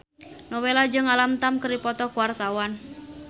Nowela jeung Alam Tam keur dipoto ku wartawan